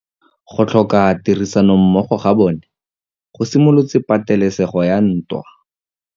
Go tlhoka tirsanommogo ga bone go simolotse patêlêsêgô ya ntwa.